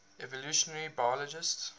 evolutionary biologists